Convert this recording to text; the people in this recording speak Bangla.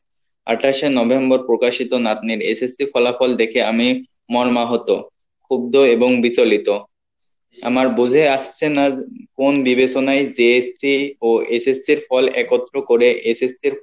আঠাশে November প্রকাশিত নাতনিরSSC ফলাফল দেখে আমি মন মাহুত, ক্ষুব্ধ এবং বিচলিত আমার বোঝাই আসছে না কোন বিবেচনায় JSC ও SSC ইর ফল একত্র করে SSC ইর